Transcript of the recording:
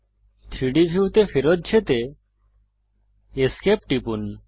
3ডি ভিউতে ফেরত যেতে esc টিপুন